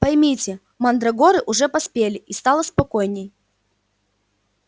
поймите мандрагоры уже поспели и стало спокойнее